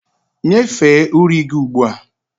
Nyefee uri gị ugbu a!